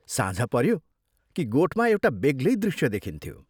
साँझ पऱ्यो कि गोठमा एउटा बेग्लै दृश्य देखिन्थ्यो।